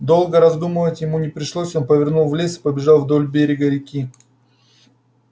долго раздумывать ему не пришлось он повернул в лес и побежал вдоль берега реки